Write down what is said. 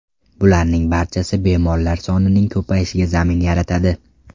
Bularning barchasi bemorlar sonining ko‘payishiga zamin yaratadi.